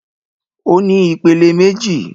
Ó ní ìpele méjì.